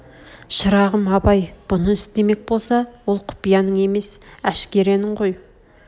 шырағым абай бұны істемек боса ол құпияның емес әшкеренің ғой